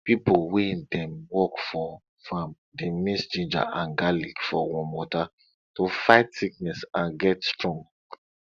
pipo wey dey work for farm dey mix ginger and garlic for warm water to fight sickness and get strong